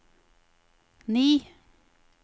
ni